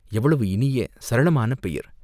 எவ்வளவு இனிய சரளமான பெயர்?